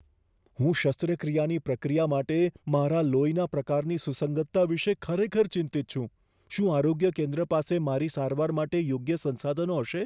હું શસ્ત્રક્રિયાની પ્રક્રિયા માટે મારા લોહીના પ્રકારની સુસંગતતા વિશે ખરેખર ચિંતિત છું. શું આરોગ્ય કેન્દ્ર પાસે મારી સારવાર માટે યોગ્ય સંસાધનો હશે?